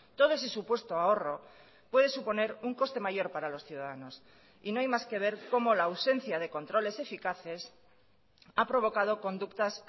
todo ese supuesto ahorro puede suponer un coste mayor para los ciudadanos y no hay más que ver cómo la ausencia de controles eficaces ha provocado conductas